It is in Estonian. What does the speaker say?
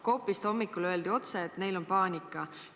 Coopist öeldi hommikul otse, et neil on paanika.